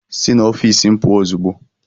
Si n'ofiisi m pụọ ozugbo!